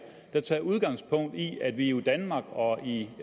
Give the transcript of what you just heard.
der tager udgangspunkt i at vi jo i danmark og i